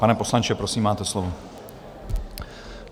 Pane poslanče, prosím, máte slovo.